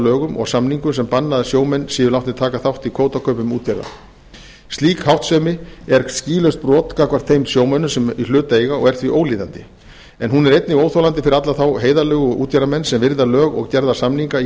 lögum og samningum sem bannað er að sjómenn séu látnir taka þátt í kvótakaupum útgerða slík háttsemi er skýlaust brot gagnvart þeim sjómönnum sem í hlut eiga og er því ólíðandi en hún er einnig óþolandi fyrir alla þá heiðarlegu útgerðarmenn sem virða lög og gerða samninga í